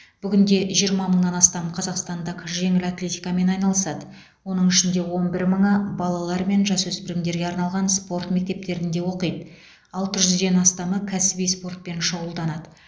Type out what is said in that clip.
бүгінде жиырма мыңнан астам қазақстандық жеңіл атлетикамен айналысады оның ішінде он бір мыңы балалар мен жасөспірімдерге арналған спорт мектептерінде оқиды алты жүзден астамы кәсіби спортпен шұғылданады